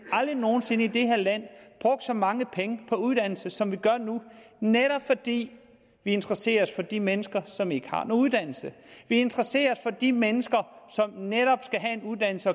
aldrig nogen sinde i det her land brugt så mange penge på uddannelse som vi gør nu netop fordi vi interesserer os for de mennesker som ikke har uddannelse vi interesserer os for de mennesker som netop skal have en uddannelse